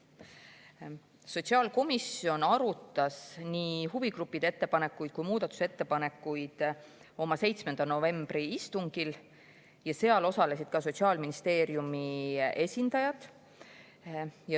Sotsiaalkomisjon arutas nii huvigruppide ettepanekuid kui ka muudatusettepanekuid oma 7. novembri istungil ja seal osalesid ka Sotsiaalministeeriumi esindajad.